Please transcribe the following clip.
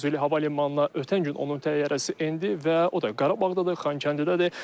Füzuli hava limanına ötən gün onun təyyarəsi endi və o da Qarabağdadır, Xankəndidədir.